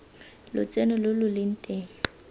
lotseno lo lo leng teng